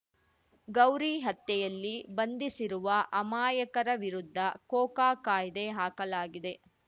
ಗೌರಿ ಹತ್ಯೆಯಲ್ಲಿ ಬಂಧಿಸಿರುವ ಅಮಾಯಕರ ವಿರುದ್ಧ ಕೋಕಾ ಕಾಯ್ದೆ ಹಾಕಲಾಗಿದೆ